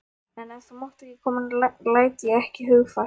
En ef þú mátt ekki koma læt ég ekki hugfallast.